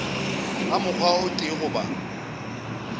ka mokgwa o tee goba